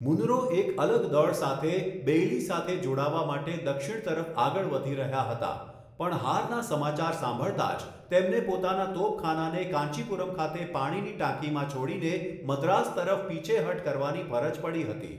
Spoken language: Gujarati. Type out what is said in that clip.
મુનરો એક અલગ દળ સાથે બેઇલી સાથે જોડાવા માટે દક્ષિણ તરફ આગળ વધી રહ્યા હતા, પણ હારના સમાચાર સાંભળતા જ તેમને પોતાના તોપખાનાને કાંચીપુરમ ખાતે પાણીની ટાંકીમાં છોડીને મદ્રાસ તરફ પીછેહઠ કરવાની ફરજ પડી હતી.